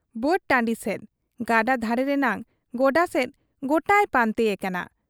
ᱵᱟᱹᱫ ᱴᱟᱺᱰᱤ ᱥᱮᱫ, ᱜᱟᱰᱟ ᱫᱷᱟᱨᱮ ᱨᱮᱱᱟᱜ ᱜᱚᱰᱟ ᱥᱮᱫ ᱜᱚᱴᱟᱭ ᱯᱟᱱᱛᱮ ᱮᱠᱟᱱᱟ ᱾